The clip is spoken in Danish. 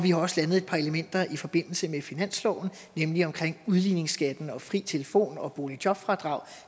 har også landet et par elementer i forbindelse med finansloven nemlig omkring udligningsskatten fri telefon og boligjobfradrag